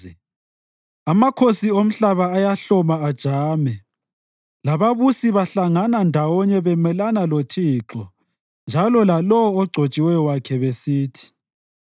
Amakhosi omhlaba ayahloma ajame lababusi bahlangana ndawonye bemelana loThixo njalo lalowo ogcotshiweyo wakhe besithi;